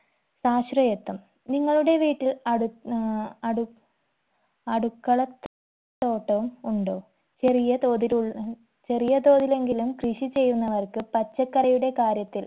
സാശ്രയത്വം നിങ്ങളുടെ വീട്ടിൽ അടു ആഹ് അടു അടുക്കള തോട്ടം ഉണ്ടോ ചെറിയ തോതിലുൾ ചെറിയ തോതിലെങ്കിലും കൃഷി ചെയ്യുന്നവർക്ക് പച്ചക്കറിയുടെ കാര്യത്തിൽ